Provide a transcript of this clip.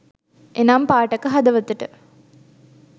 එනම් පාඨක හදවතට